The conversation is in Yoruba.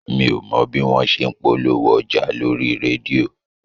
Mi ò mọ bí wọn ṣe ń polówó ọjà lórí rédíò